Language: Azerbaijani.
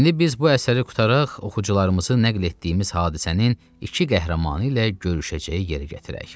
İndi biz bu əsəri qurtaraq, oxucularımızı nəql etdiyimiz hadisənin iki qəhrəmanı ilə görüşəcəyi yerə gətirək.